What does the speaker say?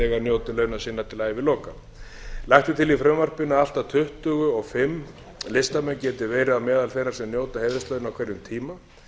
njóti launa sinna til æviloka lagt er til í frumvarpinu að allt að tuttugu og fimm listamenn geti verið meðal þeirra sem njóta heiðurslauna á hverjum tíma